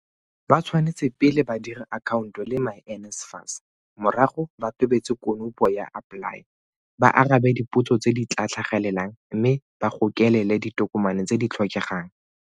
Ba tshwanetse pele ba dire akhaonto le myNSFAS, morago ba tobetse konopo ya AppLY, ba arabe dipotso tse di tla tlhagelelang mme ba gokelele ditokomane tse di tlhokegang.